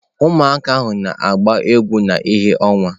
Ụmụaka na-agba egwu na ìhè ọnwa.